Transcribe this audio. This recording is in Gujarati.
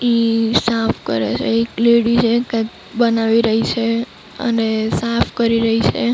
ઈ સાફ કરે છે. એક લેડી છે કૈક બનાવી રહી છે અને સાફ કરી રહી છે.